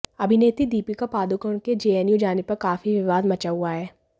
अभिनेत्री दीपिका पादुकोण के जेएनयू जाने पर काफी विवाद मचा हुआ है